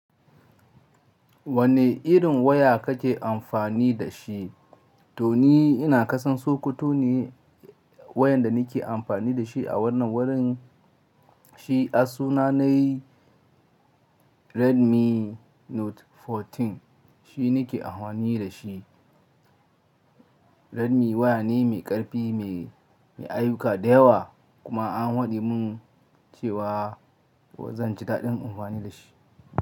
Wane irin waya kake amfani da shi? Toni ina kasan sokoto ne wayan da nake amfani dashi a wannan wurin shi a sunana Redmi Note 14 shi nake amfani da shi. Redmi waya ne mai ƙarfi, mai ayuka da yawa kuma an faɗe mun cewa zan ji daɗin amfani da shi.